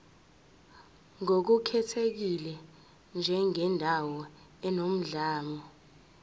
ngokukhethekile njengendawo enomlando